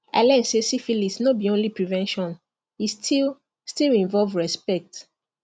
i learn say syphilis no be only prevention e still still involve respect